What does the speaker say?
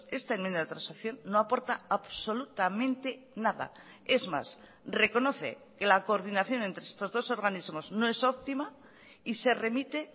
esta enmienda de transacción no aporta absolutamente nada es más reconoce que la coordinación entre estos dos organismos no es optima y se remite